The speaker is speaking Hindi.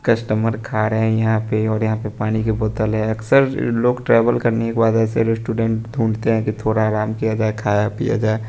कस्टमर खा रहे यहां पे और यहां पे पानी की बोतल है अक्सर ल-लोग ट्रैवल करने के बाद ऐसे रेस्टुडेंट ढूंढते है कि थोड़ा आराम किया जाए खाया-पिया जाय।